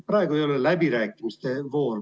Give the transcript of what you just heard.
Praegu ei ole läbirääkimiste voor.